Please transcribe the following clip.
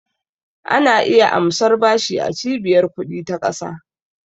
Ana iya amsar bashi a Cibiyar ƙudi ta ƙasa.